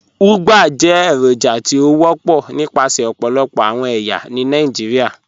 Ugbá jẹ́ èròjà tí ó wọpọ̀ nípasẹ̀ ọ̀pọ̀lọpọ̀ awọn ẹyà ní Nàìjíríà.